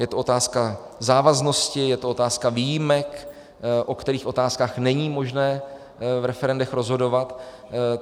Je to otázka závaznosti, je to otázka výjimek, o kterých otázkách není možné v referendech rozhodovat.